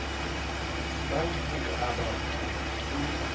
ba ho o aba o